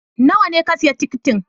Nawa ne ka siya tikitin?